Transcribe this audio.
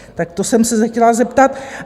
Tak to jsem se chtěla zeptat.